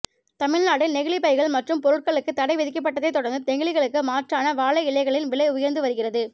தமிழ்நாட்டில் நெகிழிப் பைகள் மற்றும் பொருட்களுக்கு தடை விதிக்கப்பட்டதைத் தொடர்ந்து நெகிழிக்கு மாற்றான வாழை இலைகளின் விலை உயர்ந்து வருகிறது